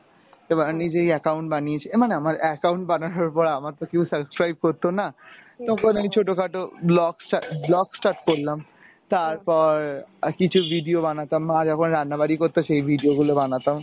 নিজেই account বানিয়েছি , মানে আমার account বানানোর পর আমার তো কেও subscribe করতো না তখন আমি ছোট খাটো blog sta~ start blog start করলাম, তারপর কিছু video বানাতাম মা যখন রান্না বারি করতো সে video গুলা বানাতাম।